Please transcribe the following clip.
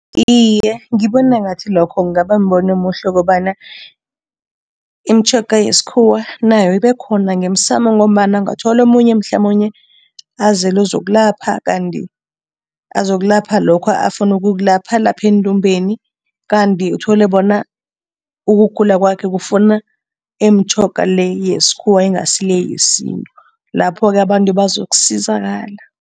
Iye, ngibona ngathi lokho kungaba mbono omuhle kobana imitjhoga yesikhuwa nayo ibekhona ngemsamo ngombana ungathola omunye mhlamunye azele ukuzokulapha kanti azokulapha lokho afuna ukukulapha alapha endumbeni kanti uthole bona ukugula kwakhe kufuna imitjhoga le yesikhuwa, ingasi le yesintu, lapho-ke abantu bazokusizakala.